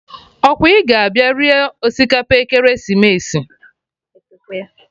Ọkwa ị ga abịa rie osikapa ekeresimesi?